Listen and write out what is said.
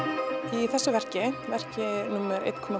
í þessu verki verki númer eitt og